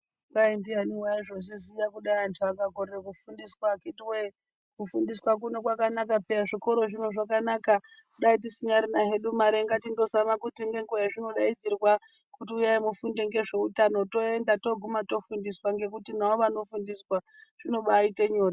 Kwai ndiani waizozviziya kudai antu akakorera kufundiswa akiti woyee kufundiswa kuno kwakanaka peya zvikoro zvino zvakanaka dai tisinyarina hedu mare ngatimbozama kuti ngenguva yazvinodaidzirwa kuti uyai mufunde ngezveutano toenda toguma tofundiswa ngekuti navo vanofundiswa zvinobaaite nyore.